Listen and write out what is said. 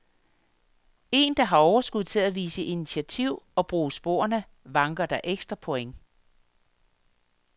Er der overskud til at vise initiativ og bruge sporerne, vanker der ekstra point.